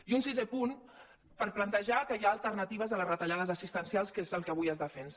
i un sisè punt per plantejar que hi ha alternatives a les retallades assistencials que és el que avui es defensa